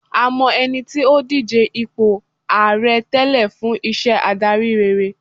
a mọ ẹni tí o dije ipo ààrẹ tẹlẹ fún iṣẹ adari rere